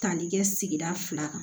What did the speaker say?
Tali kɛ sigida fila kan